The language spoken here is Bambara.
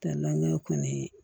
Tɛ laɲini kɔni ye